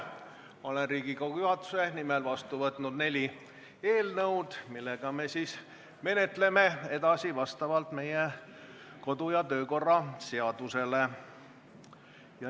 Olen Riigikogu juhatuse nimel vastu võtnud neli eelnõu, mida me menetleme vastavalt meie kodu- ja töökorra seadusele.